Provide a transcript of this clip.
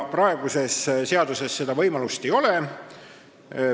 Praeguses seaduses seda võimalust ei ole.